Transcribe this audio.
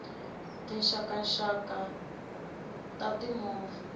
tinxaka nxaka ta ti movha